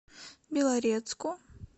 белорецку